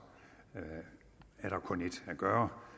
er der kun ét at gøre